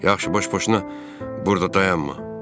Yaxşı, baş-boşuna burda dayanma.